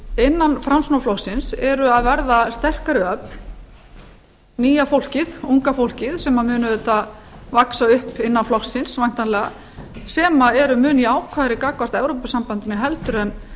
innan framsóknarflokksins eru að verða sterkari öfl nýja fólkið unga fólkið sem mun auðvitað vaxa upp innan flokksins væntanlega sem eru mjög jákvæðari gagnvart evrópusambandinu heldur en